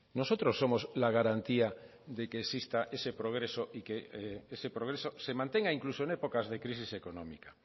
nosotros somos la garantía de que exista ese progreso y que ese progreso se mantenga incluso en épocas de crisis económica